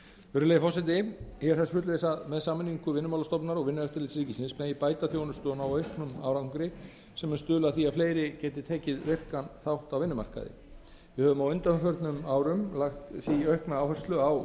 virðulegi forseti ég er þess fullviss að með sameiningu vinnumálastofnunar og vinnueftirlits ríkisins megi bæta þjónustu og ná auknum árangri sem mun stuðla að því að fleiri geti tekið virkan þátt á vinnumarkaði við höfum á undanförnum árum lagt því aukna áherslu á